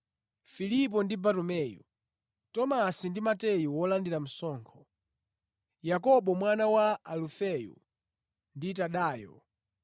Filipo ndi Bartumeyu, Tomasi ndi Mateyu wolandira msonkho, Yakobo mwana wa Alufeyo ndi Tadeyo;